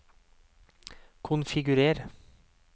konfigurer